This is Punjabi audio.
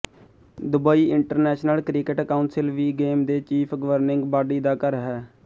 ਦੁਬਈ ਇੰਟਰਨੈਸ਼ਨਲ ਕ੍ਰਿਕੇਟ ਕਾਉਂਸਿਲ ਵੀ ਗੇਮ ਦੇ ਚੀਫ਼ ਗਵਰਨਿੰਗ ਬਾਡੀ ਦਾ ਘਰ ਹੈ